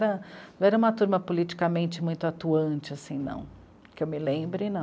Não era uma turma politicamente muito atuante, assim, não, que eu me lembre, não.